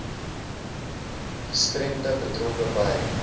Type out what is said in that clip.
gestremdhede betrokke by